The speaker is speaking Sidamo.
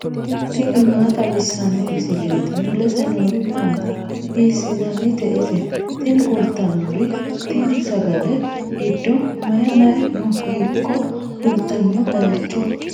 tini maa xawissanno misileeti ? mulese noori maati ? hiissinannite ise ? tini kultannori tine sagale giddo mayi mayi no hiikko fultanno baycho